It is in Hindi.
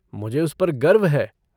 मुझे उस पर गर्व है।